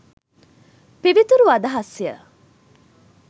පිවිතුරු අදහස්ය.